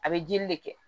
A bɛ jeli de kɛ